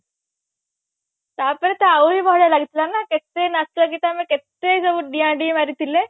ତାପରେ ତ ଆହୁରି ବଢିଆ ଲାଗିଥିଲା ନା କେଟ ନାଚ ଗୀତ ଆମେ କେତେ ସବୁ ଡିଆଁ ଡିଇଁ ମାରିଥିଲେ